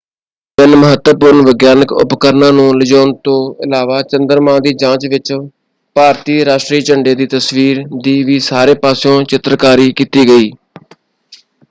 ਤਿੰਨ ਮਹੱਤਵਪੂਰਣ ਵਿਗਿਆਨਕ ਉਪਰਕਰਣਾਂ ਨੂੰ ਲਿਜਾਣ ਤੋਂ ਇਲਾਵਾ ਚੰਦਰਮਾ ਦੀ ਜਾਂਚ ਵਿੱਚ ਭਾਰਤੀ ਰਾਸ਼ਟਰੀ ਝੰਡੇ ਦੀ ਤਸਵੀਰ ਦੀ ਵੀ ਸਾਰੇ ਪਾਸਿਓਂ ਚਿੱਤਰਕਾਰੀ ਕੀਤੀ ਗਈ।